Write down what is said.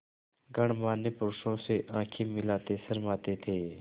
गणमान्य पुरुषों से आँखें मिलाते शर्माते थे